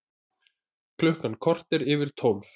Klukkan korter yfir tólf